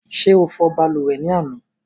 Ṣé o fò balùwẹ̀ ni àná?